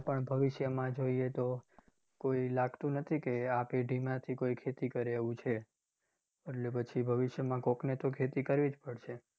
પણ ભવિષ્યમાં જોઇએ તો કોઇ લાગ્તુ નથી કે આ પેઢી માંથી કોઇ ખેતી કરે એવુ છે. એટલે પછી ભવિષ્યમાં કોઈકને તો ખેતી કરવી જ પડશે.